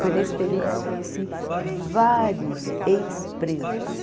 Foi nesse período que eu conheci vários ex-presos.